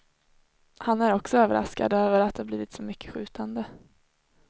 Han är också överraskad över att det blivit så mycket skjutande.